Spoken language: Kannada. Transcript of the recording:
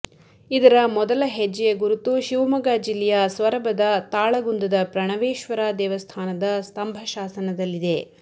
ಇದರ ಮೊದಲ ಹೆಜ್ಜೆಯ ಗುರುತು ಶಿವಮೊಗ್ಗ ಜಿಲ್ಲೆಯ ಸೊರಬದ ತಾಳಗುಂದದ ಪ್ರಣವೇಶ್ವರ ದೇವಸ್ಥಾನದ ಸ್ತಂಭಶಾಸನದಲ್ಲಿದೆ